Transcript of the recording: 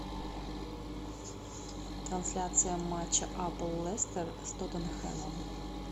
трансляция матча апл лестер с тоттенхэмом